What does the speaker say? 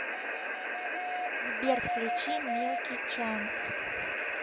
сбер включи милки чанс